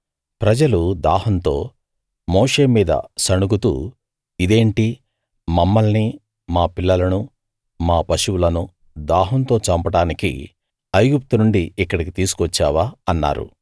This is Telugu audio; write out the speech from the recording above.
ప్రజలు దాహంతో మోషే మీద సణుగుతూ ఇదేంటి మమ్మల్ని మా పిల్లలను మా పశువులను దాహంతో చంపడానికి ఐగుప్తు నుండి ఇక్కడికి తీసుకువచ్చావా అన్నారు